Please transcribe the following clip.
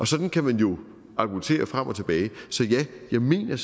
sådan kan man jo argumentere frem og tilbage så ja jeg mener